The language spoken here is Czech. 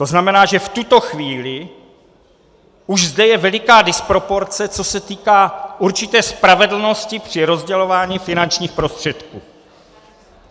To znamená, že v tuto chvíli už zde je veliká disproporce, co se týká určité spravedlnosti při rozdělování finančních prostředků.